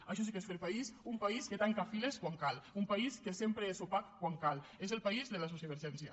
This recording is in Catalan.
això sí que és fer país un país que tanca files quan cal un país que sempre és opac quan cal és el país de la sociovergència